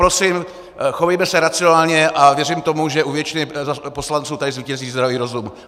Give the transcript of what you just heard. Prosím, chovejme se racionálně, a věřím tomu, že u většiny poslanců tady zvítězí zdravý rozum.